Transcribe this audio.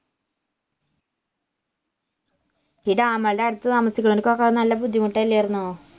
ഈ dam കളുടെ അടുത്ത് താമസിക്കുന്നവർക്കൊക്കെ നല്ല ബുദ്ധിമുട്ട് അല്ലായിരുന്നോ